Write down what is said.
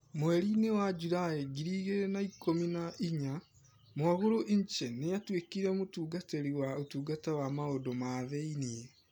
Mweri-inĩ wa Julai ngiri igĩrĩ na ikũmi na inyanya, Mwagulu Nche nĩ aatuĩkire mũtungatĩri wa ũtungata wa maũndũ ma thĩinĩ.